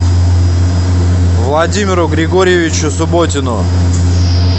владимиру григорьевичу субботину